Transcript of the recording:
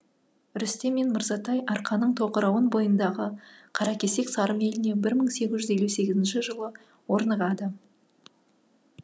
рүстем мен мырзатай арқаның тоқырауын бойындағы қаракесек сарым еліне бір мың сегіз жүз елу сегізінші жылы орнығады